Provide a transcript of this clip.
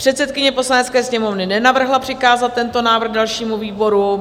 Předsedkyně Poslanecké sněmovny nenavrhla přikázat tento návrh dalšímu výboru.